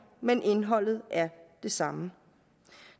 men indholdet er det samme